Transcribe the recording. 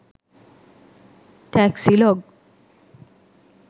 taxi log